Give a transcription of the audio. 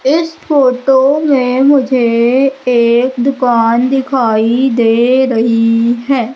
इस फोटो में मुझे एक दुकान दिखाई दे रही है।